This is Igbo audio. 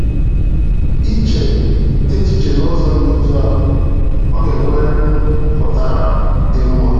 Iche echiche n'ụzọ dị otú ahụ, Ọ ga-enweriri mpụtara dị mma.